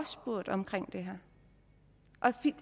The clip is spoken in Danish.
spurgt om det